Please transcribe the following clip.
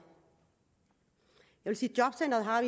jobcentret har